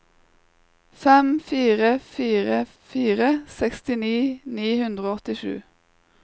fem fire fire fire sekstini ni hundre og åttisju